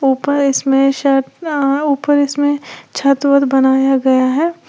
ऊपर इसमें सत आं ऊपर इसमें छत वत बनाया गया है।